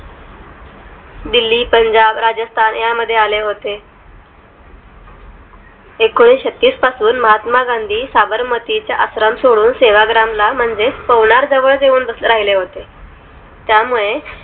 दिल्ली, पंजाब, राजस्थान यांमध्ये आले होते एकोणीशेचतीस पासून महात्मा गांधी साबरमती चा आश्रम सोडून सेवाग्राम ला म्हणजे पवनार जवळच येऊन बस राहिले होते त्यामुळे